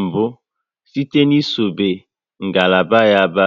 mbụ site n'isobe ngalaba ba